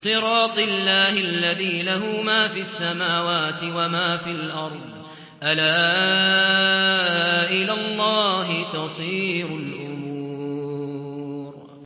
صِرَاطِ اللَّهِ الَّذِي لَهُ مَا فِي السَّمَاوَاتِ وَمَا فِي الْأَرْضِ ۗ أَلَا إِلَى اللَّهِ تَصِيرُ الْأُمُورُ